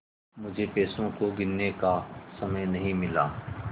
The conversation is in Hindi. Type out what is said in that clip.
मुझे पैसों को गिनने का समय नहीं मिला